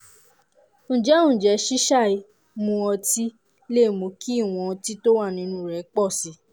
ǹjẹ́ ǹjẹ́ ṣíṣàì mu ọtí lè mú kí ìwọ̀n ọtí tó wà nínú rẹ̀ pọ̀ sí i?